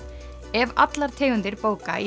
ef allar tegundir bóka í